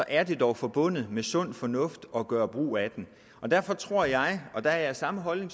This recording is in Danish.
er det dog forbundet med sund fornuft at gøre brug af den derfor tror jeg og der er jeg af samme holdning